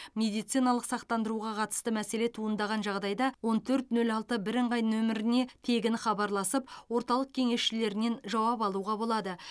медициналық сақтандыруға қатысты мәселе туындаған жағдайда он төрт нөл алты бірыңғай нөміріне тегін хабарласып орталық кеңесшілерінен жауап алуға болады